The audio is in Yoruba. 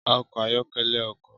Ọkọ ayọkẹlẹ ọkọ